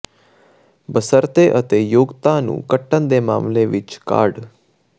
ਬਸ਼ਰਤੇ ਅਤੇ ਯੋਗਤਾ ਨੂੰ ਕੱਟਣ ਦੇ ਮਾਮਲੇ ਵਿੱਚ ਕਾਢ